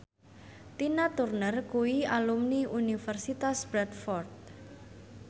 Tina Turner kuwi alumni Universitas Bradford